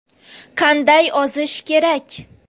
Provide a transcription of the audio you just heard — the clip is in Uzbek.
Qanday ozish kerak?.